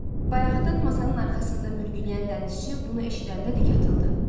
Bayaqdan masanın arxasında mürgüləyən dənizçi bunu eşidəndə dik atıldı.